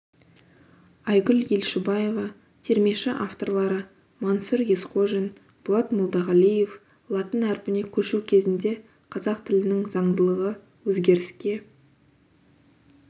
айгүл елшібаева термеші авторлары мансұр есқожин болат молдағалиев латын әрпіне көшу кезінде қазақ тілінің заңдылығы өзгеріске